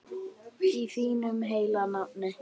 Í þínu heilaga nafni.